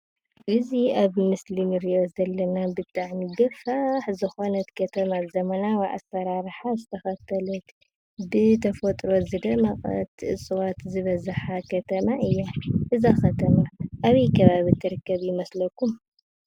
እዚ አብ ምስሊ እንሪኦ ዘለና ብጣዕሚ ገፋሕ ዝኮነት ከተማ ዘመናዊ አስራራሓ ዝተከተለተ ብተፈጥሮ ዝደመቀት ሰባት ዝበዝሓ ከተማ እያ፡፡ እዛ ከተማ አበይ ከባቢ እትርከብ ይመስለኩም?